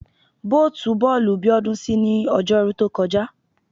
Bóòtù bọ́ọ̀lù Bíọ́dún ṣí ní Ọjọ́rú tó kọjá